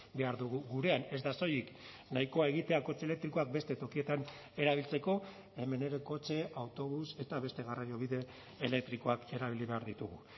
behar dugu gurean ez da soilik nahikoa egitea kotxe elektrikoak beste tokietan erabiltzeko hemen ere kotxe autobus eta beste garraiobide elektrikoak erabili behar ditugu